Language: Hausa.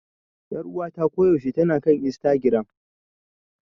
Ƴaruwata ko yaushe tana kan Istagiram.